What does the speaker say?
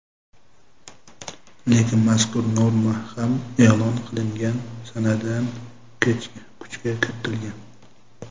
Lekin mazkur norma ham e’lon qilingan sanadan kuchga kiritilgan.